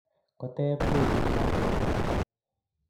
Koteeb tebut lakwet